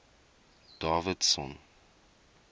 davidson